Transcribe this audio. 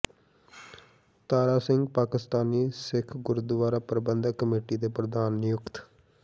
ਤਾਰਾ ਸਿੰਘ ਪਾਕਿਸਤਾਨੀ ਸਿੱਖ ਗੁਰਦੁਅਰਾ ਪ੍ਰਬੰਧਕ ਕਮੇਟੀ ਦੇ ਪ੍ਰਧਾਨ ਨਿਯੁਕਤ